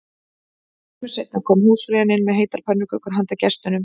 Skömmu seinna kom húsfreyjan inn með heitar pönnukökur handa gestunum